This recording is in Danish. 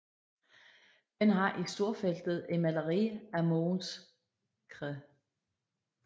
Den har i storfeltet et maleri af Mogens Cr